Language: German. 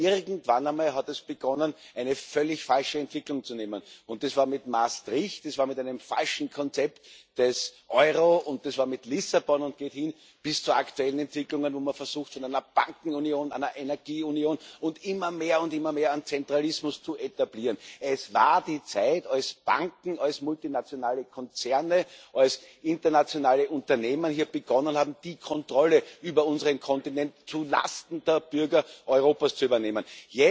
Nur, irgendwann einmal hat es begonnen, eine völlig falsche Entwicklung zu nehmen. Das war mit Maastricht, das war mit einem falschen Konzept des Euro, das war mit Lissabon und geht hin bis zu aktuellen Entwicklungen, wo man versucht, eine Bankenunion, eine Energieunion und immer mehr und immer mehr an Zentralismus zu etablieren. Es war die Zeit, als Banken, als multinationale Konzerne, als internationale Unternehmen hier begonnen haben, die Kontrolle über unseren Kontinent zulasten der Bürger Europas zu übernehmen.